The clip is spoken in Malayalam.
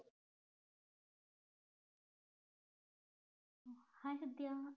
hai വിദ്യ